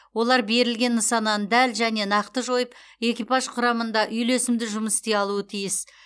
олар берілген нысананы дәл және нақты жойып экипаж құрамында үйлесімді жұмыс істей алуы тиіс